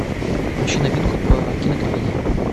включи новинку по кинокомедии